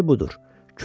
İndi budur.